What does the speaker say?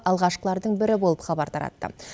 алғашқылардың бірі болып хабар таратты